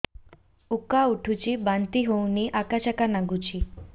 ଉକା ଉଠୁଚି ବାନ୍ତି ହଉନି ଆକାଚାକା ନାଗୁଚି